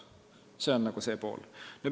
See on see pool.